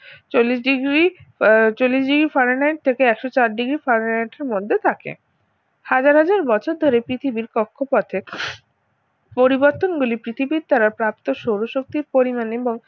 চল্লিশ degree চল্লিশ degree fahrenheit থেকে একশো চার degree fahrenheit এর মধ্যে থাকে হাজার হাজার বছর ধরে পৃথিবীর কক্ষপথে পরিবর্তনগুলি পৃথিবীর দ্বারা প্রাপ্ত সৌরশক্তির পরিমান এবং